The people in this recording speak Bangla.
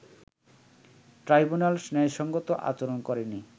ট্রাইব্যুনাল ন্যায়সংগত আচরণ করেনি